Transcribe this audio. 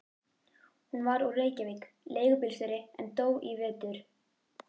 Hann var úr Reykjavík, leigubílstjóri, en dó í vetur.